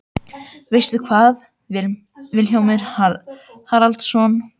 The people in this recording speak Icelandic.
Veistu hvað, Vilhjálmur Haraldsson?